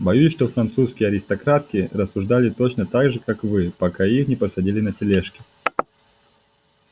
боюсь что французские аристократки рассуждали точно так же как вы пока их не посадили на тележки